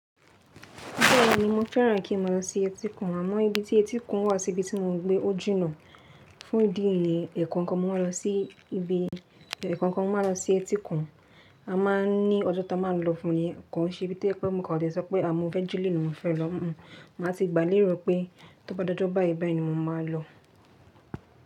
Bẹ́ẹ̀ni, mo fẹ́ràn kí màá lọ sí etíkun àmọ́ ibi tí etíkun wà sí ibi tí mò ń gbé ó jinà. Fún ìdí eyin, ẹ̀ kan kan mo máa lọ sí ibi, ẹ̀ kan kan mo máa lọ sí etíkun. A máa ń ní ọjọ́ tí a máa ń lọ fún ni, kàn ṣe bíi pé mo kò le sọ pé àmọ́ ọjọ́ julọ ni mo fẹ́ lọ. Màá ti gbà léèrò pé tó bá dọjọ báyìí báyìí ni mo máa lọ.